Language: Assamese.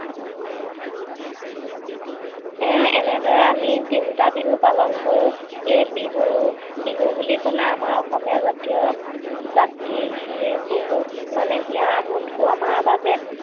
এনেদৰে আমি তিনটা বিহু পালন কৰো। এই বিহু বিহু বুলি কলে আমাৰ অসমীয়া জাতিয় জাতি খিনিৰ বহুত মানে হিয়াৰ আমঠু আমাৰ বাবে